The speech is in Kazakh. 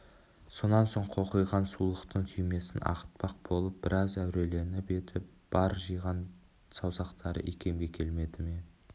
сонан соң қоқиған сулықтың түймесін ағытпақ болвп біраз әуреленіп еді бар жиған саусақтары икемге келмеді ме